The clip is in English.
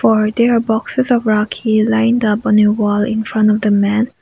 are there boxes of rakhi lines upon a wall in front of the man.